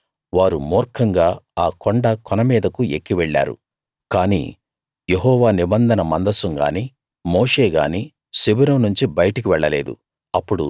కాని వారు మూర్ఖంగా ఆ కొండ కొన మీదకు ఎక్కి వెళ్ళారు కాని యెహోవా నిబంధన మందసం గానీ మోషే గానీ శిబిరం నుంచి బయటకు వెళ్ళలేదు